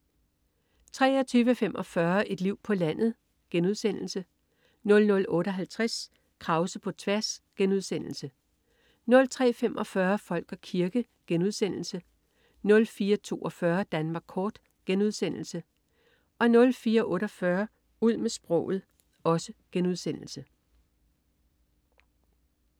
23.45 Et liv på landet* 00.58 Krause på tværs* 03.45 Folk og kirke* 04.42 Danmark kort* 04.48 Ud med sproget*